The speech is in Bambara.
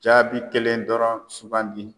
Jaabi kelen dɔrɔn sugandi.